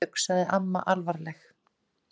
Guðbjörg, sagði amma alvarleg.